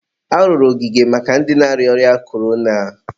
arụrụ ogige maka ndị na-arịa ọrịa korona.